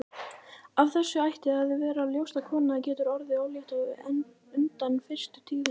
Af þessu ætti að vera ljóst að kona getur orðið ólétt á undan fyrstu tíðum.